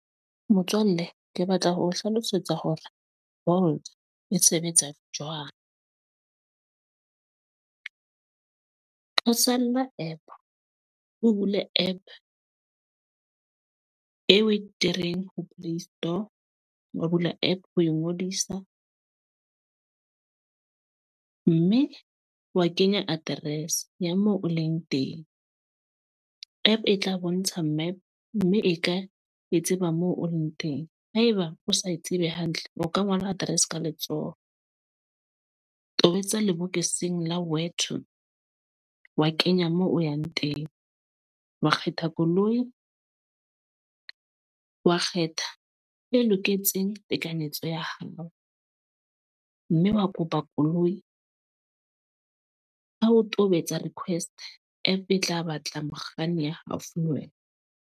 Motswalle, ke batla ho o hlalosetsa hore Bolt e sebetsa jwang. Ho app, o bule app e we ho play store. Wa bula app ho ngodisa. Mme wa kenya address ya moo o leng teng. App e tla bontsha map, mme e ka e tseba moo o leng teng. Haeba o sa e tsebe hantle, o ka ngola address ka letsoho. Tobetsa lebokoseng la where to, wa kenya moo o yang teng. Wa kgetha koloi, wa kgetha e loketseng tekanyetso ya hao. Mme wa kopa koloi. Ha o tobetsa request, app e tla batla mokganni ya haufi le wena.